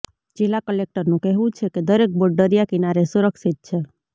જિલ્લા કલેક્ટરનું કહેવું છે કે દરેક બોટ દરિયા કિનારે સુરક્ષિત છે